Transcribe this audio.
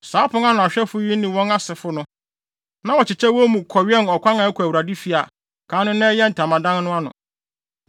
Saa apon ano ahwɛfo yi ne wɔn asefo no, na wɔkyekyɛ wɔn mu kɔwɛn ɔkwan a ɛkɔ Awurade fi, a kan no na ɛyɛ ntamadan no ano.